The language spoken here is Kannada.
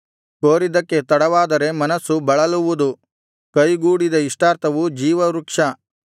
ಕೋರಿದ್ದಕ್ಕೆ ತಡವಾದರೆ ಮನಸ್ಸು ಬಳಲುವುದು ಕೈಗೂಡಿದ ಇಷ್ಟಾರ್ಥವು ಜೀವವೃಕ್ಷವು